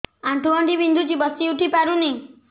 ଆଣ୍ଠୁ ଗଣ୍ଠି ବିନ୍ଧୁଛି ବସିଉଠି ପାରୁନି